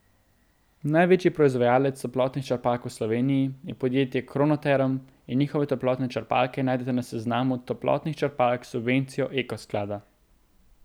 Največji proizvajalec toplotnih črpalk v Sloveniji je podjetje Kronoterm in njihove toplotne črpalke najdete na seznamu toplotnih črpalk s subvencijo Eko sklada.